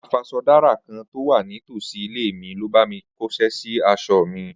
Afaṣọdárà kan tó wà ní tòsí ilé mi ló bá mi kóṣẹ́ sí aṣọ mi